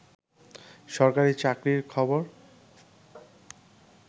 সরকারি চাকরির খবর